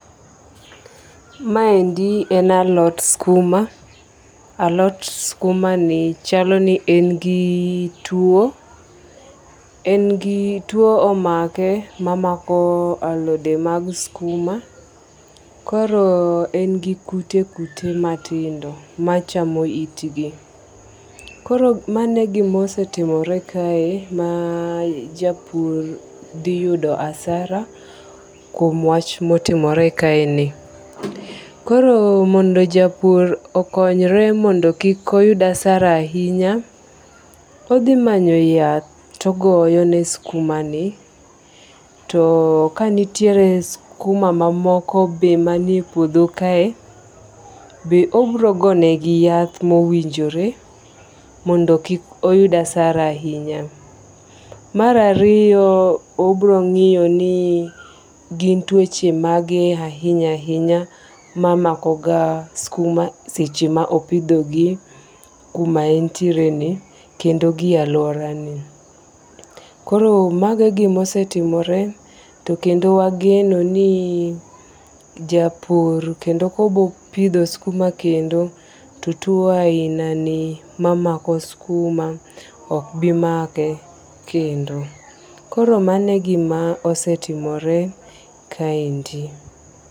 Maendi en alot skuma, alot skumani chalo ni en gi tuo, en gi tuo omake ma mako alode mag skuma koro en gi kute kute matindo machamo itgi, koro mano e gima osetimore kae ma japur dhiyudo hasara kuom wach ma otimore kaeni, koro mondo japur okonyre mondo kik oyud hasara ahinya odhimanyo yath to ogoyo ne skumani to kanitiere skuma mamoko be manie e puotho kae be obirogonegi yath ma owinjore mondo kik oyud hasara ahinya. Mar ariyo obrongi'yo ni gin tuoche mage ahinya ahinya ma makoga skuma seche ma opithogi kuma en tiereni kendo gi aluorani, koro mago e gima osetimore kendo wageno ni japur kendo kopitho skuma kendo to tuo ahinani mamako skuma ok bimake kendo koro mago e gima osetimore kaendi